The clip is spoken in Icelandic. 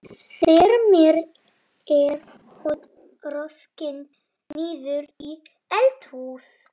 Þar með er hún rokin niður í eldhús.